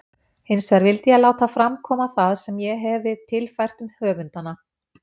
Hinsvegar vildi ég láta fram koma það sem ég hefi tilfært um höfundana.